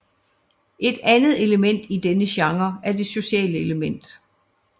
Et andet element i denne genre er det sociale element